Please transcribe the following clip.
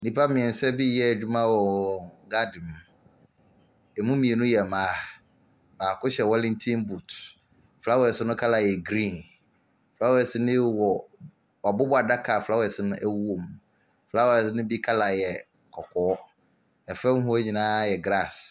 Nnipa mmeɛnsa bi reyɛ adwuma wɔ wɔn garden mu. Ɛmu mmienu yɛ mmaa. Baako hyɛ wellinton boot. Flowers no colour yɛ green. Flowers no wɔ wɔabobɔ adaka a flowres no wɔ mu. Flowers no bu colour yɛ kɔkɔɔ. Fam hɔ nyinaa yɛ grass.